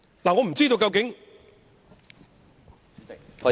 我不知道究竟......